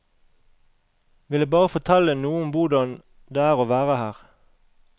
Ville bare fortelle noe om hvordan det er å være her.